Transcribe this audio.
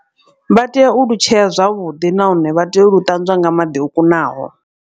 Vha tea u lutshea zwavhuḓi nahone vha tea u lu ṱanzwa nga maḓi o kunaho.